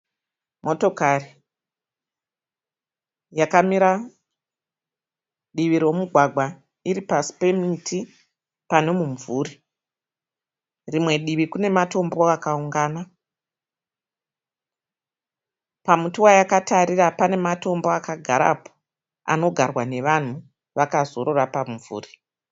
Motokari yakamira divi romugwagwa iri pasi pemuti pane mumvuri. Rimwe divi kune matombo akaungana. Pamuti wayakatarira pane matombo akagarapo anogarwa nevanhu vakazorora pamumvuri.